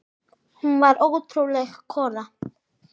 Hún var ótrúleg kona.